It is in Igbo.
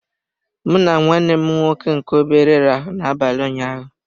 M na nwanne m nwoke nke obere rahụrụ na abalị ụnyaahụ.